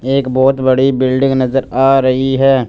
एक बहोत बड़ी बिल्डिंग नजर आ रही है।